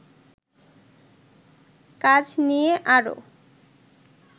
কাজ নিয়ে আরো